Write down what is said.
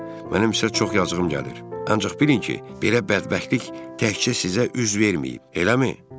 Mənə isə çox yazığım gəlir, ancaq bilin ki, belə bədbəxtlik təkcə sizə üz verməyib, eləmi?